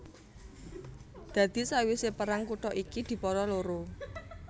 Dadi sawisé perang kutha iki dipara loro